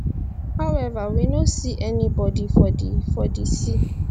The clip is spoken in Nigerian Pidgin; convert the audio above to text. however we no see any bodi for di for di sea